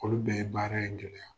Olu bɛɛ ye baara in gɛlɛya.